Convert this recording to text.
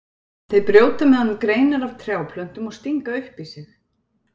Þeir brjóta með honum greinar af trjáplöntum og stinga upp í sig.